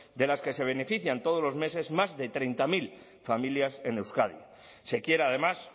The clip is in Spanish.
de las que se benefician todos los meses más de treinta mil familias en euskadi se quiere además